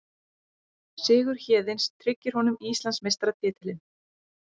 Sigur Héðins tryggir honum Íslandsmeistaratitilinn